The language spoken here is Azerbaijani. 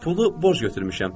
Pulu borc götürmüşəm.